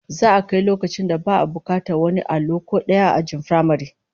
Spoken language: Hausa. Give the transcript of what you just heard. Za'a kai loakcin da babu bukatar wani allo ko daya ajin firamare